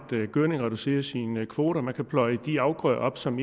gødning og reducere sine kvoter man kan pløje de afgrøder op som